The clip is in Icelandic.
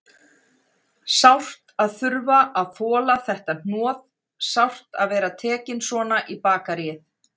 Sárt að þurfa að þola þetta hnoð, sárt að vera tekinn svona í bakaríið.